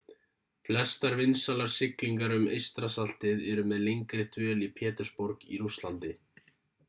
flestar vinsælar siglingar um eystrasaltið eru með lengri dvöl í pétursborg í rússlandi